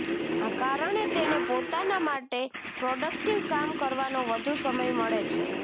આ કારણે તેને પોતાના માટે પ્રોડક્ટિવ કામ કરવાનો વધુ સમય મળે છે